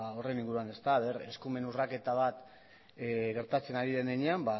horren inguruan ea eskumen urraketa bat gertatzen ari den heinean